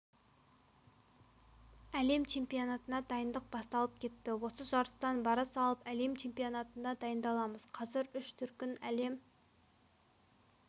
әлем чемпионатына дайындық басталып кетті осы жарыстан бара салып әлем чемпионатына дайындаламыз қазір үш дүркін әлем